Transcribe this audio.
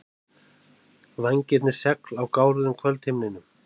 Vængirnir segl á gáruðum kvöldhimninum.